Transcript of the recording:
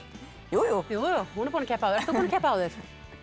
jú jú hún er búin að keppa áður ert þú búinn að keppa áður